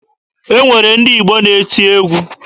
E nwere ndị Igbo na-eti egwu.